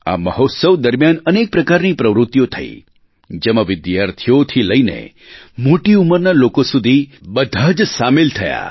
આ મહોત્સવ દરમિયાન અનેક પ્રકારની પ્રવૃત્તિઓ થઈ જેમાં વિદ્યાર્થીઓથી લઈને મોટી ઉંમરના લોકો સુધી બધા જ સામેલ થયા